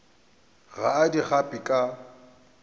ga a di gape ka